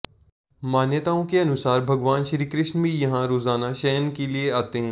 मान्यताओं के अनुसार भगवान श्री कृष्ण भी यहां रोजाना शयन के लिये आते हैं